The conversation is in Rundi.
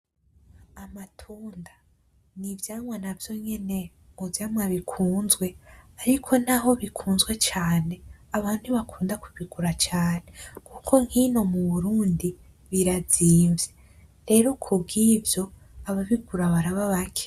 Amatunda, n'ivyamwa navyo nyene mu vyamwa bikunzwe ariko naho bikunzwe cane abantu ntibakunda kubigura cane kuko nk'ino mu Burundi birazinvye, rero kubwivyo ababigura baraba bake.